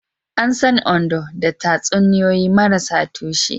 An san Ondo da tatsuniyoyi marasa tushe.